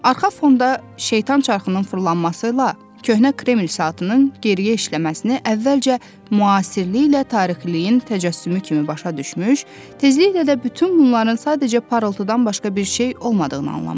Arxa fonda şeytan çarxının fırlanması ilə köhnə Kreml saatının geriyə işləməsini əvvəlcə müasirliklə tarixliliyin təcəssümü kimi başa düşmüş, tezliklə də bütün bunların sadəcə parıltıdan başqa bir şey olmadığını anlamışdı.